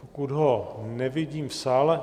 Pokud ho nevidím v sále...